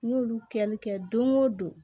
N y'olu kɛli kɛ don o don